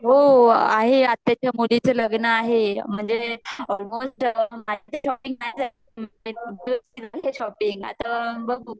हो आहे आत्याचा मुली च ल्ग्न्न आहे म्हणजे uncealr शॉपिंग आता बघू